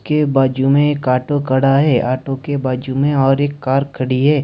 के बाजू में एक ऑटो खड़ा है ऑटो के बाजू में और एक कार खड़ी है।